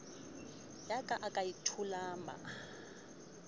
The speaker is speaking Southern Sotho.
ya ka e a thulama